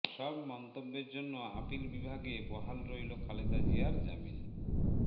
সব মন্তব্যের জন্য আপিল বিভাগে বহাল রইল খালেদা জিয়ার জামিন